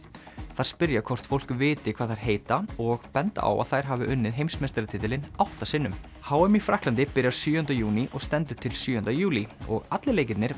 þær spyrja hvort fólk viti hvað þær heita og benda á að þær hafi unnið heimsmeistaratitilinn átta sinnum h m í Frakklandi byrjar sjöunda júní og stendur til sjöunda júlí og allir leikirnir